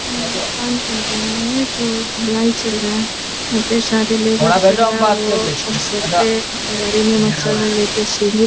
मकान बन रहा है जो ढलाई चल रहा है | यहाँ पे सारे लेबर सब है वो सीढ़ी --